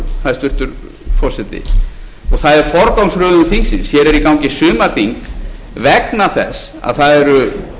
hæstvirtur forseti og það er forgangsröðun þingsins hér er í gangi sumarþing vegna þess að það eru